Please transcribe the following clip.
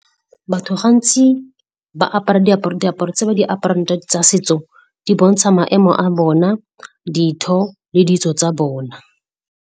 Batho gantsi ba apara diaparo, diaparo tse ba di aparang tsa setso di bontsha maemo a bona, ditho le ditso tsa bona.